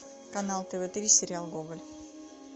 канал тв три сериал гоголь